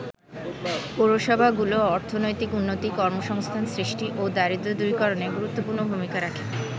পৌরসভাগুলো অর্থনৈতিক উন্নতি, কর্মসংস্থান সৃষ্টি ও দারিদ্র দূরীকরণে গুরুত্বপূর্ণ ভূমিকা রাখে।